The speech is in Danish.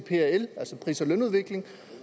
pris og lønudvikling